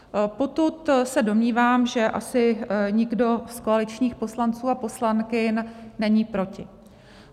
Potud se domnívám, že asi nikdo z koaličních poslanců a poslankyň není proti.